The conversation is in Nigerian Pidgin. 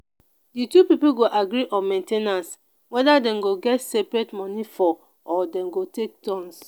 di two pipo go agree on main ten ance weda dem go get seperate money for or dem go take turns